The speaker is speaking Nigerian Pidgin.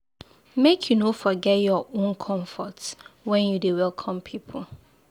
Make you no forget your own comfort wen you dey welcome pipu.